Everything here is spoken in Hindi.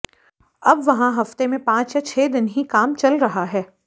अब वहां हफ्ते में पांच या छह दिन ही काम चल रहा है